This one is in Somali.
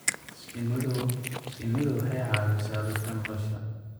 Shinnidu waxay caawisaa dadka nolosha.